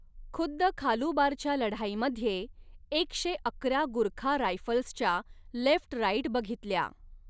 खुद्द खालुबारच्या लढाईमध्ये एक शे अकरा गुरखा रायफल्सच्या 'लेफ्ट राईट बघितल्या.